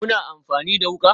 Kuna amfani da wuka?